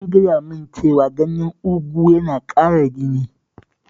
An faɗa min cewa ganyen ugu yana ƙara jini